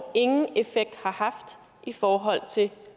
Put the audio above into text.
ingen effekt har haft i forhold til